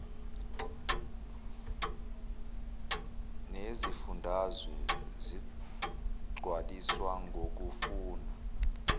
neyezifundazwe zigcwaliswa ngokufuna